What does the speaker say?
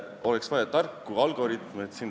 Oleks vaja tarku algoritme.